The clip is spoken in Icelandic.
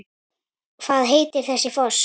Hvað heitir þessi foss?